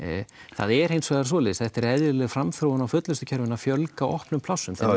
það er hins vegar svoleiðis þetta er eðlileg framþróun á fullnustukerfinu að fjölga opnum plássum